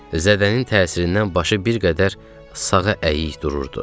Zədənin təsirindən başı bir qədər sağa əyik dururdu.